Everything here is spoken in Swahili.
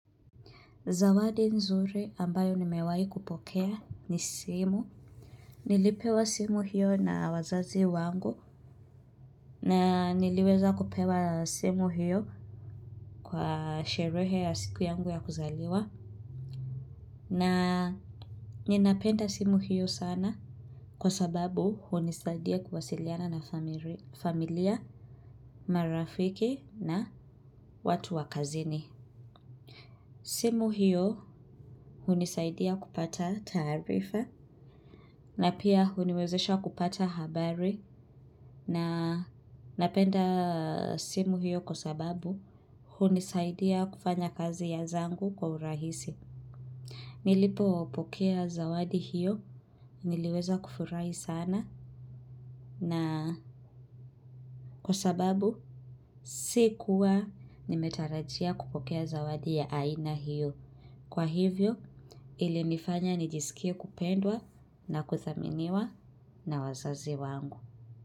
Zawadi nzuri ambayo nimewahi kupokea ni simu. Nilipewa simu hiyo na wazazi wangu. Na niliweza kupewa simu hiyo kwa sherehe ya siku yangu ya kuzaliwa. Na ninapenda simu hiyo sana kwa sababu hunisaidia kuwasiliana na familia, marafiki na watu wakazini. Simu hiyo hunisaidia kupata taarifa. Na pia huniwezesha kupata habari na napenda simu hiyo kwa sababu hunisaidia kufanya kazi ya zangu kwa urahisi. Nilipopokea zawadi hiyo niliweza kufurahi sana kwa sababu sikuwa nimetarajia kupokea zawadi ya aina hiyo. Kwa hivyo ilinifanya nijiskie kupendwa na kudhaminiwa na wazazi wangu.